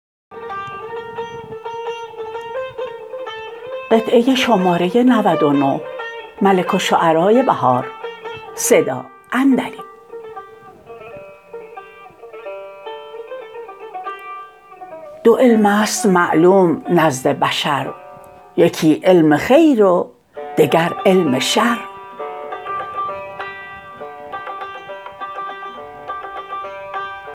دو علم است معلوم نزد بشر یکی علم خیر و دگر علم شر